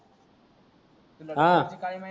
तुला हा